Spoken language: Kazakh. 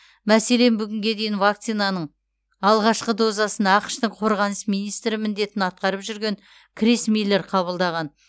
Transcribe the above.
мәселен бүгінге дейін вакцинаның алғашқы дозасын ақш тың қорғаныс министрі міндетін атқарып жүрген крис миллер қабылдаған